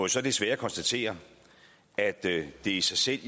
så desværre konstatere at det i sig selv